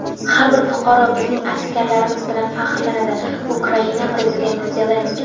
har bir fuqaro bizning askarlarimiz bilan faxrlanadi - Ukraina Prezidenti Zelenskiy.